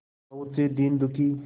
बहुत से दीन दुखी